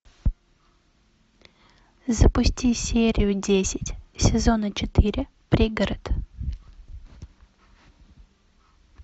запусти серию десять сезона четыре пригород